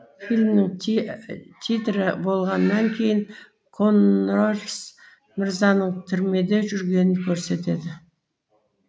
фильмнің титрі болғаннан кейін коннорс мырзаның түрмеде жүргенін көрсетеді